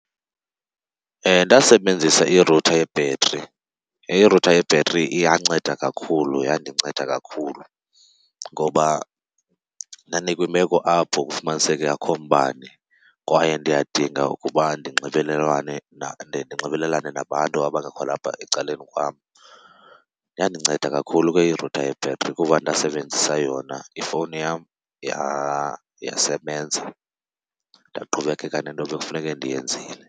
Ndasebenzisa irutha yebhetri, irutha yebhetri iyanceda kakhulu yandinceda kakhulu ngoba ndandikwimeko apho kufumaniseke akho umbane kwaye ndiyadinga ukuba ndinxibelelane nabantu abangekho lapha ecaleni kwam. Yandinceda kakhulu ke irutha yebhetri kuba ndasebenzisa yona, ifowuni yam yasebenza ndaqhubekeka nento bekufuneke ndiyenzile.